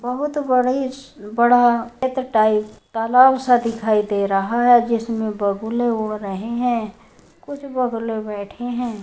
बहुत बड़ी-स् बड़ा तालाब सा दिखाई दे रहा है जिसमें बगुले उड़ रहे हैं। कुछ बगुले बैठे हैं।